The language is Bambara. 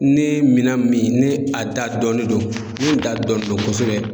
Ni mina min ni a da dɔɔnin don, munnu da dɔnnen do kosɛbɛ.